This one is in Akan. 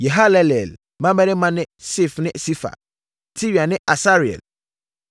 Yehalelel mmammarima ne Sif ne Sifa, Tiria ne Asarel.